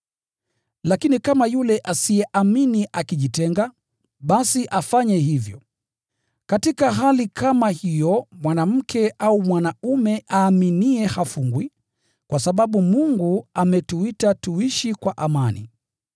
Lakini kama yule asiyeamini akijitenga, basi afanye hivyo. Katika hali kama hiyo mwanamke au mwanaume aaminiye hafungwi, kwa sababu Mungu ametuita tuishi kwa amani.